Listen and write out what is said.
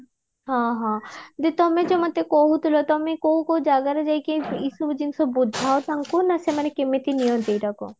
ହଁ ହଁ ଯୋ ତମେ ଯୋ ମତେ କୋହୁଥିଲ ତମେ କୋଉ କୋଉ ଜାଗାରେ ଯାଇକି ଏଇସବୁ ଜିନିଷ ବୁଝଅ ତାଙ୍କୁ ନାଁ ସେମାନ କେମିତି ନିଅନ୍ତି ଏଇଟା କୁ